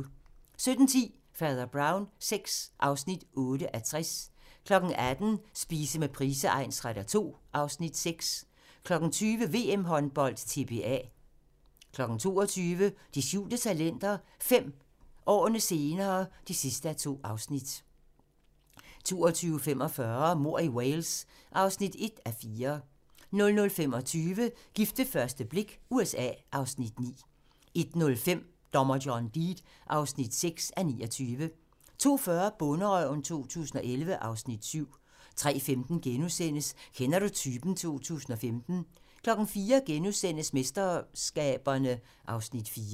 17:10: Fader Brown VI (8:60) 18:00: Spise med Price egnsretter II (Afs. 6) 20:00: VM Håndbold: TBA 22:00: De skjulte talenter – 5 år senere (2:2) 22:45: Mord i Wales (1:4) 00:25: Gift ved første blik – USA (Afs. 9) 01:05: Dommer John Deed (6:29) 02:40: Bonderøven 2011 (Afs. 7) 03:15: Kender du typen? 2015 * 04:00: MesterSkaberne (Afs. 4)*